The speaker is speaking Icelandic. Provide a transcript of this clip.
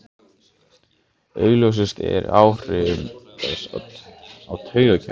Augljósust eru áhrif þess á taugakerfið.